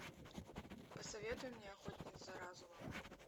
посоветуй мне охотник за разумом